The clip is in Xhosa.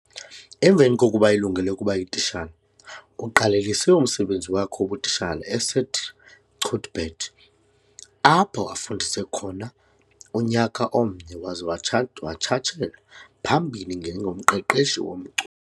Emveni kokuba elungele ukuba yititshala, uqalelise umsebenzi wakhe wobutitshala eSt Cuthbert, apho afundise khona unyaka omnye waze watshata watshatshela phambili ngengoMqeqeshi womculo.